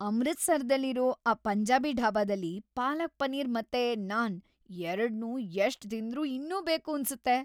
ಅಮೃತ್‌ಸರದಲ್ಲಿರೋ ಆ ಪಂಜಾಬಿ ಢಾಬಾದಲ್ಲಿ ಪಾಲಕ್ ಪನೀರ್ ಮತ್ತೆ ನಾನ್ ಎರಡ್ನೂ ಎಷ್ಟ್‌ ತಿಂದ್ರೂ ಇನ್ನೂ ಬೇಕೂನ್ಸತ್ತೆ.